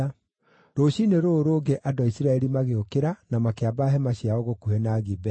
Rũciinĩ rũrũ rũngĩ andũ a Isiraeli magĩũkĩra na makĩamba hema ciao gũkuhĩ na Gibea.